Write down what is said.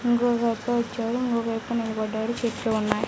ఇంగోకాయప్ప వచ్చాడు ఇంగొక వ్యక్తి నిలబడ్డాడు చెట్లు ఉన్నాయి.